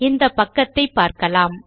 இந்தப் பக்கத்தைப் பார்க்கலாம்